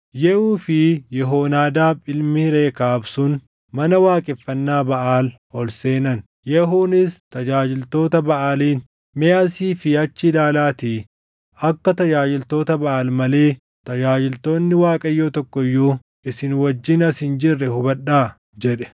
Yehuu fi Yehoonaadaab ilmi Rekaab sun mana waaqeffannaa Baʼaal ol seenan. Yehuunis tajaajiltoota Baʼaaliin, “Mee asii fi achi ilaalaatii akka tajaajiltoota Baʼaal malee tajaajiltoonni Waaqayyoo tokko iyyuu isin wajjin as hin jirre hubadhaa” jedhe.